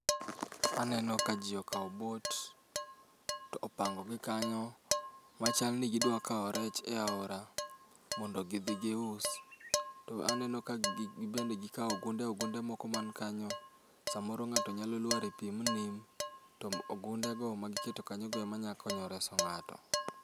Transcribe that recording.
Aneno ka ji okawo bot, to opango gi kanyo. Ma chal ni gidwa kawo rech e aora, mondo gidhi gius. To aneno ka gibende gikawo ogunde ogunde man kanyo, samor ng'ato nyalo lwar e pi ma nim. To ogunde go ma giketo kanyo go ema nya konyo reso ng'ato.